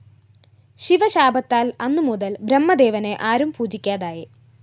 ശിവ ശാപത്താല്‍ അന്നു മുതല്‍ ബ്രഹ്മദേവനെ ആരും പൂജിക്കാതായി